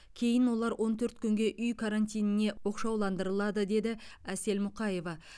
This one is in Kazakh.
кейін олар он төрт күнге үй карантиніне оқшауландырылады деді әсел мұқаева